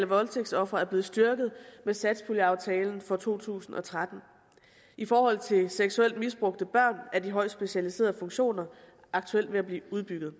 voldtægtsofre er blevet styrket med satspuljeaftalen for to tusind og tretten i forhold til seksuelt misbrugte børn er de højt specialiserede funktioner aktuelt ved at blive udbygget